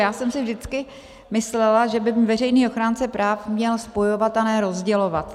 Já jsem si vždycky myslela, že by veřejný ochránce práv měl spojovat, a ne rozdělovat.